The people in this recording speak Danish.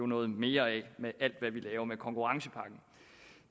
noget mere af det med alt det vi laver med konkurrencepakken